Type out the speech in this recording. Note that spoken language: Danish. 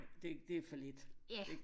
Det det for lidt ikke